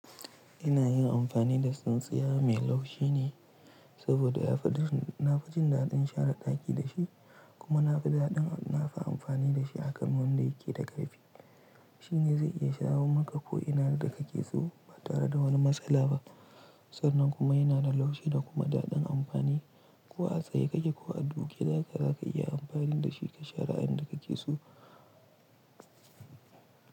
Ina yin amfani da tsintsiya mai laushi ne saboda na fi jin daɗin share ɗaki da shi kuma na fi daɗin na fi amfani da shi a kan wanda yake da ƙarfi. Shi ne zai iya shawo maka ko ina da kake so ba tare da wani matsala ba sannan kuma yana da laushi da kuma daɗin amfani ko a tsaye kake ko a duke zaka zaka iya amfani da shi ka share inda kake so.